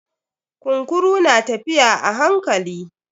Kunkurun na tafiya a hankali.